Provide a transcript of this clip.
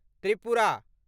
Tripura